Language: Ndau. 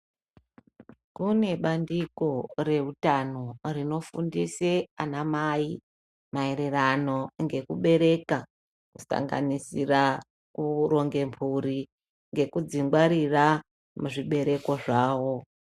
Kune bandiko reutano rinofundise anamai maererano ngekubereka kusanganisira kuronge mphuri ngekudzingwarira muzvibereko zvavo.